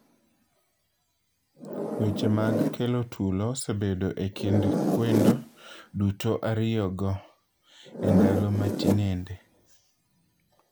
Weche mag kelo tulo osebedo e kind kwendo duto ariyo go endalo ma tinende